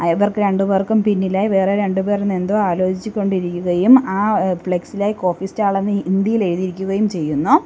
ഇവർക്ക് രണ്ടുപേർക്കും പിന്നിലായി വേറെ രണ്ടുപേർ എന്തോ ആലോചിച്ച് കൊണ്ടിരിക്കുകയും ആ ഏഹ് ഫ്ലെക്സിലായി കോഫി സ്റ്റാൾ എന്ന് ഹിന്ദിയിൽ എഴുതിയിരിക്കുകയും ചെയ്യുന്നു.